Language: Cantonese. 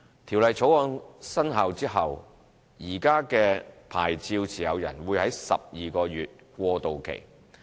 《條例草案》生效後，現時的牌照持有人會有12個月過渡期。